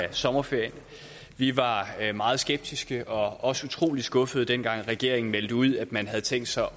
af sommerferien vi var meget skeptiske og også utrolig skuffede dengang regeringen meldte ud at man havde tænkt sig